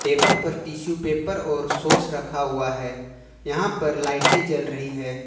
Table पर tissue paper और शोश रखा हुआ है यहां पर लाइटे जल रही है।